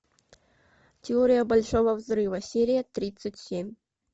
теория большого взрыва серия тридцать семь